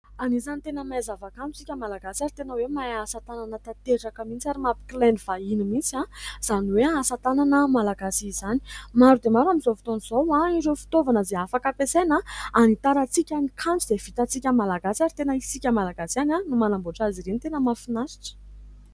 Anisan'ny tena mahay zava-kanto isika Malagasy ary tena hoe mahay asa tanana tanteraka mihintsy, ary mampikilainy vahiny mihintsy izany hoe asa tanana Malagasy izany. Maro dia maro amin'izao fotoana izao ireo fitaovana izay afaka ampiasaina hanitarantsika ny kanto izay vitantsika Malagasy, ary tena isika Malagasy ihany no manamboatra azy ireny. Tena mahafinaritra !